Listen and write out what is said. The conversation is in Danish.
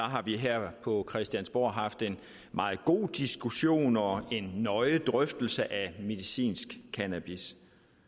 har vi her på christiansborg haft en meget god diskussion og en nøje drøftelse af medicinsk cannabis